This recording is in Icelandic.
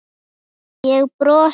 Ég brosti.